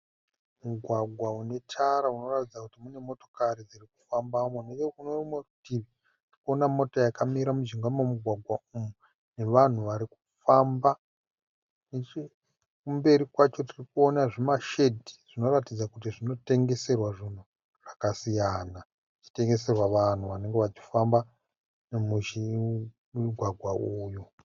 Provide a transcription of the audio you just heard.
Mugwagwa une tara unoratidza kuti mune motokari dziri kufambamo, neche kune rimwe rutivi ndikuona mota yakamira mujinga memugwagwa umu nevanhu vari kufamba. Nechekumberi kwacho tirikuona zvima shedhi zvinoratidza kuti zvinotengeserwa zvinhu zvakasiyana, zvichitengeserwa vanhu vanenge vachifamba mumugwagwa uwu.